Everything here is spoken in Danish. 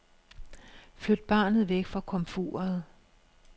Flyt barnet væk fra komfuret.